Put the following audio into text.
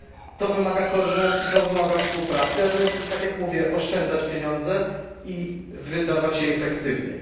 To wymaga koordynacji i współpracy, aby tak jak mówię oszczędzać pieniądze i wydawać je efektywniej.